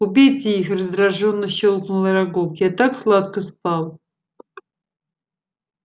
убейте их раздражённо щёлкнул арагог я так сладко спал